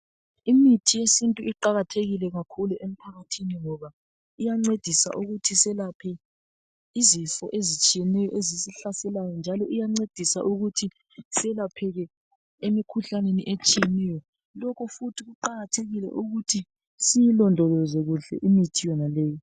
Imithi yesintu iqakathekile kakhulu emphakathini ngoba iyancedisa ukuthi selaphe izifo ezitshiyeneyo ezisihlaselayo njalo iyancedisa ukuthi selapheke emikhuhlaneni etshiyeneyo. Lokhu futhi kuqakathekile ukuthi siyilondoloze kuhle imithi yonaleyo.